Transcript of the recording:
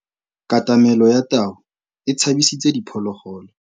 Katamêlô ya tau e tshabisitse diphôlôgôlô.